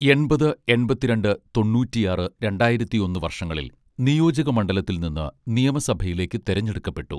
എൺപത് എൺപത്തിരണ്ട് തൊണ്ണൂറ്റിയാറ് രണ്ടായിരത്തിയൊന്ന് വർഷങ്ങളിൽ നിയോജക മണ്ഡലത്തിൽ നിന്ന് നിയമസഭയിലേക്ക് തിരഞ്ഞെടുക്കപ്പെട്ടു